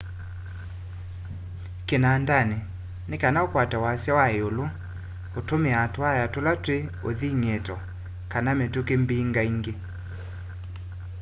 kinandani nikana ukwate wasya wa iulu utumiaa tuwaya tula twi uthing'ito kana mituki mbingaingi